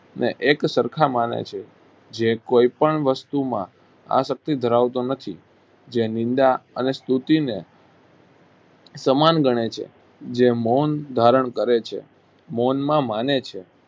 ને એક સરખા માને છે જે કોઈપણ વસ્તુમાં આસક્તિ ધરાવતો નથી જે નિંદા અને સ્તુતિને સમાન ગણે છે જે મૌન ધારણ કરે છે મૌનમાં માને છે